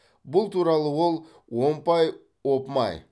бұл туралы ол омпай опмай